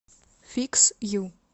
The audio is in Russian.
фикс ю